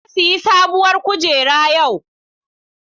Na sayi sabuwar kujera yau.